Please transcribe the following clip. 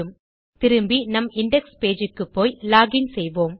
திரும்பி நம் index page க்குப்போய் லாக் இன் செய்வோம்